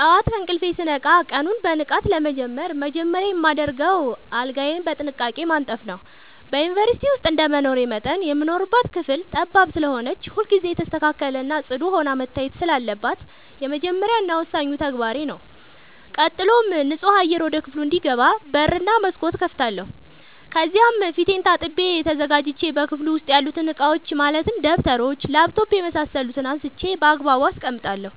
ጠዋት ከእንቅልፌ ስነቃ ቀኑን በንቃት ለመጀመር መጀመሪያ የማደርገው አልጋዬን በጥንቃቄ ማንጠፍ ነዉ። በዩንቨርስቲ ዉስጥ እንደመኖሬ መጠን የምንኖርባት ክፍል ጠባብ ስለሆነች ሁልጊዜ የተስተካከለ እና ፅዱ ሆና መታየት ስላለባት የመጀመሪያ እና ወሳኙ ተግባሬ ተግባሬ ነዉ። ቀጥሎም ንፁህ አየር ወደ ክፍሉ እንዲገባ በር እና መስኮት እከፍታለሁ ከዚያም ፊቴን ታጥቤ ተዘጋጅቼ በክፍሉ ዉስጥ ያሉትን እቃዎች ማለትም ደብተሮች: ላፕቶፕ የምሳሰሉትን አንስቼ ባግባቡ አስቀምጣለሁ።